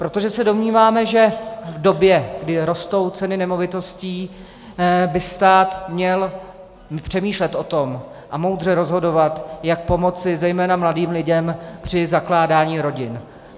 Protože se domníváme, že v době, kdy rostou ceny nemovitostí, by stát měl přemýšlet o tom a moudře rozhodovat, jak pomoci zejména mladým lidem při zakládání rodin.